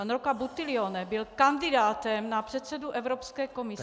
Pan Rocco Buttiglione byl kandidátem na předsedu Evropské komise...